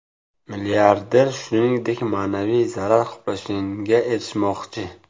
Milliarder, shuningdek, ma’naviy zarar qoplanishiga erishmoqchi.